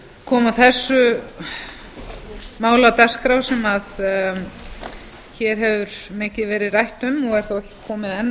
koma þessu máli á dagskrá sem hér hefur mikið verið rætt um og er þó ekki komið enn